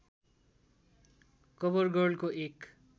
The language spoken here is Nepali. कभरगर्लको एक